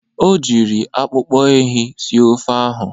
O jiri akpụkpọ ehi sie ofe ahụ.